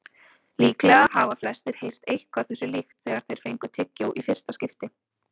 Líklega hafa flestir heyrt eitthvað þessu líkt þegar þeir fengu tyggjó í fyrsta skipti.